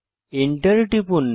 enter টিপুন